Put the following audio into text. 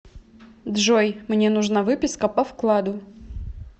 джой мне нужна выписка по вкладу